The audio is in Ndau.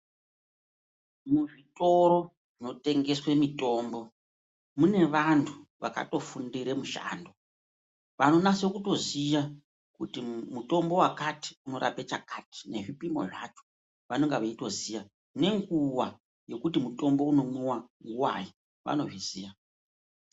Muzvitoro zvino tengeswe mitombo mune vantu vaka tofundire mushando vanonase kutoziya kuti mutombo vakati unorapa chakati nezvipino zvacho vanonga veitoziya, nenguva yekuti mutombo unomwiwa nguvai vanozviziya.